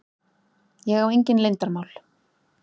Ég á engin leyndarmál.